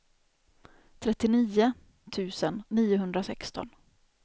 trettionio tusen niohundrasexton